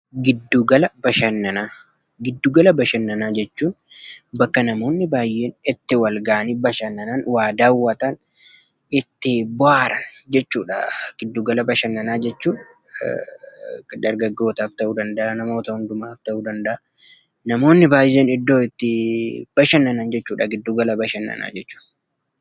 Giddu-gala bashannanaa: giddu gala bashannanaa jechuun bakka namoonni baay'een itti wal ga'anii bashannanan, waa daawwatan, itti bohaaran jechuudha. Giddu gala bashannanaa jechuun dargaggootaaf ta'uu danda'a, namoota hundumaaf ta'uu danda'a. Namoonni baay'een iddoo itti bashannanan jechuudha giddu gala bashannanaa jechuun.